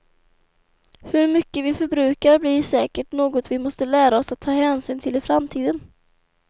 Hur mycket vi förbrukar blir säkert något vi måste lära oss att ta hänsyn till i framtiden.